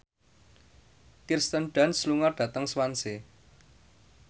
Kirsten Dunst lunga dhateng Swansea